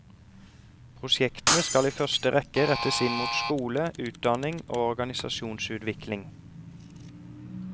Prosjektene skal i første rekke rettes inn mot skole, utdanning og organisasjonsutvikling.